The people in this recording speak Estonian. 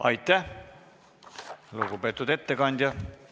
Aitäh, lugupeetud ettekandja!